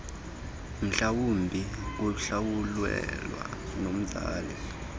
mhlawumbi kuhlawulelwe nomzali